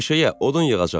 Meşəyə, odun yığacağam.